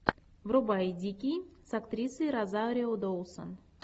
врубай дикий с актрисой розарио доусон